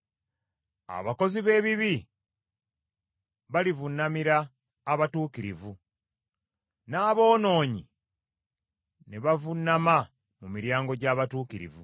Abakozi b’ebibi balivuunamira abatuukirivu, n’aboonoonyi ne bavuunama mu miryango gy’abatuukirivu.